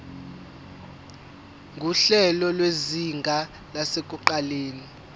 nguhlelo lwezinga lasekuqaleni